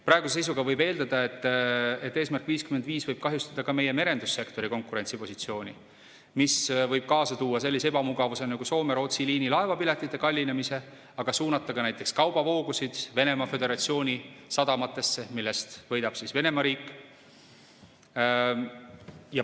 Praeguse seisuga võib eeldada, et "Eesmärk 55" võib kahjustada ka meie merendussektori konkurentsipositsiooni, mis võib kaasa tuua sellise ebamugavuse nagu Soome-Rootsi liinilaevapiletite kallinemise ja suunata kaubavoogusid Venemaa Föderatsiooni sadamatesse, millest võidab Venemaa riik.